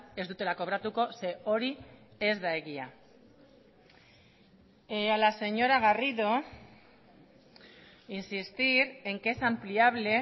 ez dutela kobratuko ze hori ez da egia a la señora garrido insistir en que es ampliable